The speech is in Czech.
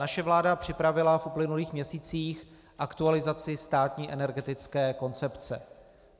Naše vláda připravila v uplynulých měsících aktualizaci státní energetické koncepce.